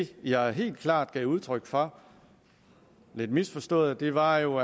det jeg helt klart gav udtryk for lidt misforstået var jo